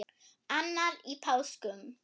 annar í páskum